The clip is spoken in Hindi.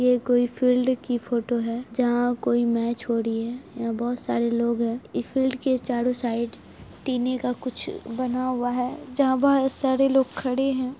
ये कोई फील्ड की फोटो हैं जहां कोई मैच हो रही हैं यहाँ बहुत सरे लोग है इस फील्ड के चारो साइड टिने का कुछ बना हुआ हैं जहां बहुत सारे लोग खड़े है।